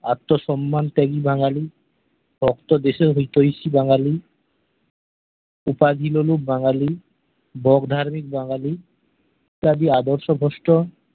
আত্মসম্মান প্রেমী বাঙ্গালি পোক্ত দেশের হোইতোইসি বাঙ্গালি উপাধি মুলক বাঙ্গালি বক ধার্মিক বাঙ্গালি সবই আদর্শ ভ্রষ্ট